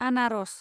आनारस